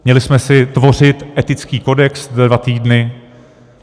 Měli jsme si tvořit etický kodex za dva týdny?